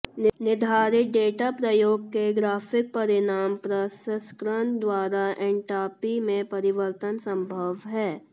निर्धारित डेटा प्रयोग के ग्राफिक परिणाम प्रसंस्करण द्वारा एन्ट्रापी में परिवर्तन संभव है